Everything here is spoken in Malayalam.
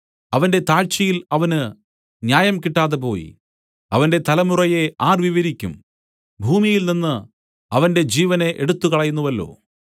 അവന്റെ താഴ്ചയിൽ അവന് ന്യായം കിട്ടാതെ പോയി അവന്റെ തലമുറയെ ആർ വിവരിക്കും ഭൂമിയിൽനിന്നു അവന്റെ ജീവനെ എടുത്തുകളയുന്നുവല്ലോ